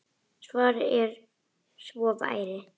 Svarið var að svo væri.